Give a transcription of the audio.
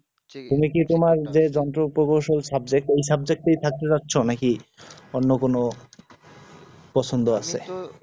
তুমি কি তোমার যে যন্ত্র কৌশল subject ওই subject এই থাকতে চাইছ নাকি অন্য কোন পছন্দ আছে